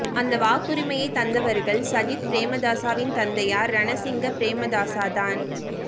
அந்த வாக்குரிமையை தந்தவர்கள் சஜித் பிரேமதாசவின் தந்தையார் ரணசிங்க பிரேமதாச தான்